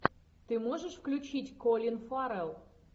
ты можешь включить колин фаррелл